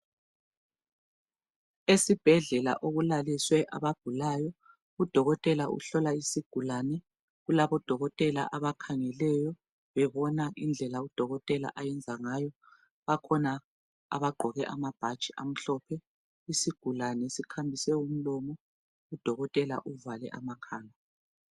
Esibhedlela okulaliswe abagulayo. Udokotela uhlola isigulane. Kulabodokotela abakhangelwyo, bebona indlela udokotela ayenza ngayo. Bakhona abagqoke amabhatshi amhlophe. Isigulane sikhamise umlomo, udokotela uvale amakhala.